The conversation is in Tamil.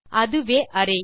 அதுவே அரே